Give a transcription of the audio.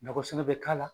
Nakɔsigi bɛ k'a la